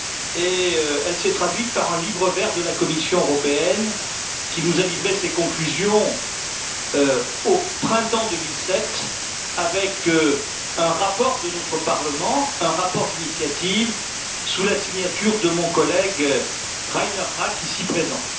et elle s'est traduite par un livre vert de la Commission européenne qui nous a livré ses conclusions au printemps 2007, avec un rapport de notre Parlement un rapport d'initiative sous la signature de mon collègue Reinhard Rack, ici présent.